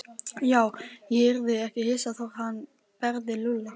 Já, ég yrði ekki hissa þótt hann berði Lúlla.